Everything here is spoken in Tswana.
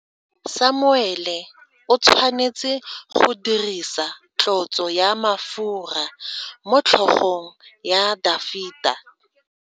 Samuele o tshwanetse go dirisa tlotso ya mafura motlhogong ya Dafita.